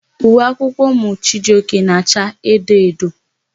Uwe akwụkwọ ụmụ Chijioke na-acha edo edo.